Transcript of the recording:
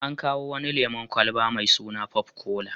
An kawo wani lemon kwalaba mai sun popcola.